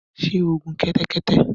Sé o gun kẹ́tẹ́kẹ́tẹ́